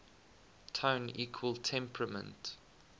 tone equal temperament